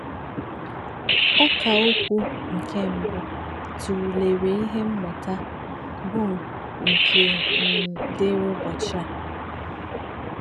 Ọ́kà̄ òkwú̄ nké̄ mbù̄ tụrụ̄lèrè̄ íhè̄ mmụ̀tá̄ bụ́ụ̀k dị́rị́ ụ́bọ̀chí̄ ā̄.